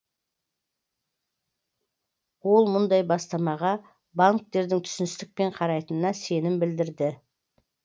ол мұндай бастамаға банктердің түсіністікпен қарайтынына сенім білдірді